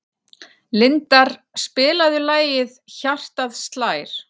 Lindar, spilaðu lagið „Hjartað slær“.